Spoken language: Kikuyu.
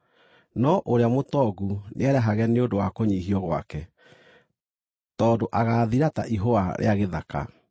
No ũrĩa mũtongu nĩerahage nĩ ũndũ wa kũnyiihio gwake, tondũ agaathira ta ihũa rĩa gĩthaka.